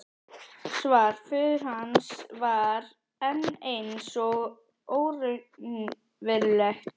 Svar föður hans var enn eins og óraunverulegt.